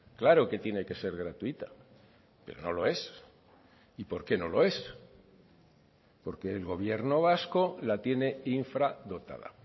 claro que tiene que ser gratuita pero no lo es y por qué no lo es porque el gobierno vasco la tiene infradotada